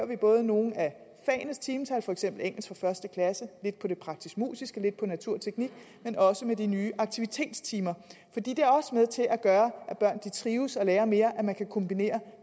vi både nogle af fagenes timetal for eksempel engelsk fra første klasse lidt på det praktisk musiske lidt på natur teknik men også med de nye aktivitetstimer fordi det også er med til at gøre at børn trives og lærer mere at man kan kombinere